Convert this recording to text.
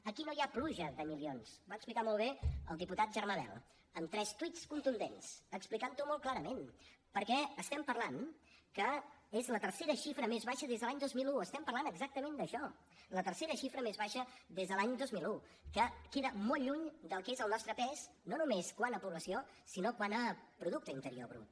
aquí no hi ha pluja de milions ho va explicar molt bé el diputat germà bel en tres tuits contundents explicant ho molt clarament perquè estem parlant que és la tercera xifra més baixa des de l’any dos mil un estem parlant exactament d’això la tercera xifra més baixa des de l’any dos mil un que queda molt lluny del que és el nostre pes no només quant a població sinó quant a producte interior brut